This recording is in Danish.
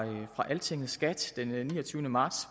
altinget skat den niogtyvende marts